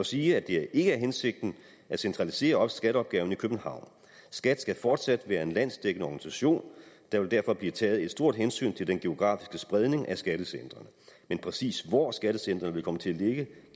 sige at det ikke er hensigten at centralisere skatteopgaven i københavn skat skal fortsat være en landsdækkende organisation der vil derfor blive taget et stort hensyn til den geografiske spredning af skattecentrene men præcis hvor skattecentrene vil komme til at ligge